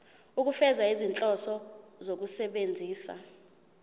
ukufeza izinhloso zokusebenzisa